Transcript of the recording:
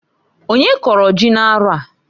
Onye kọrọ ji n'arọ a?